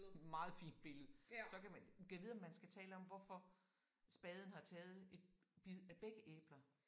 Meget fint billede. Så kan man gad vide om man skal tale om hvorfor spaden har taget et bid af begge æbler